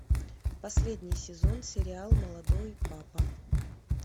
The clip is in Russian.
последний сезон сериал молодой папа